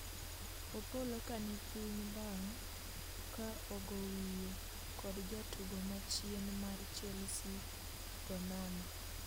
opolo kani piny bang' ka ogo wiye kod jatugo machien mar Chelsea Ganoma